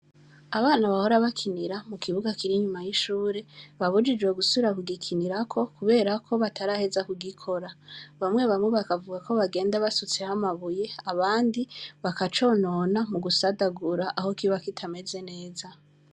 Abana bahora bakinira mu kibuga kiri nyuma y'ishure babujijwe gusura kugikinirako kuberako bataraheza kugikora bamwe bamu bakavuga ko bagenda basutse hamabuye abandi bakaconona mu gusadagura aho kiba kitameze neza.